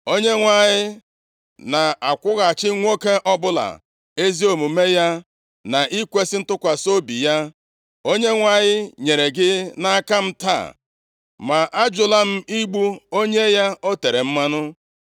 Onyenwe anyị na-akwụghachi nwoke ọbụla ezi omume ya na ikwesi ntụkwasị obi ya. Onyenwe anyị nyere gị nʼaka m taa ma ajụla m igbu onye ya o tere mmanụ.